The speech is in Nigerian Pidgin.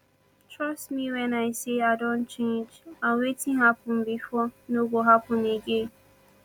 trust me wen i say i don change and wetin happen before no go happen again